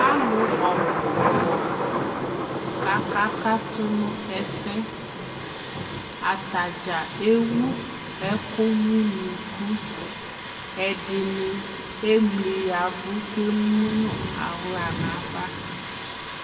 alʋ ɔbʋ kɔ ka aka katʋ nʋ ɛsɛ, atagya ɛwʋ ɛkʋ nʋ ʋnʋkʋ, ɛdini ɛmli yavʋ kʋ ɛmʋnʋ ala nʋ aɣa